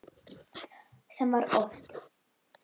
Sem var oft.